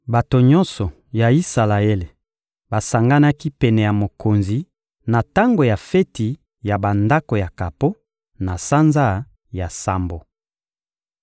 Bato nyonso ya Isalaele basanganaki pene ya mokonzi na tango ya feti ya Bandako ya kapo, na sanza ya sambo.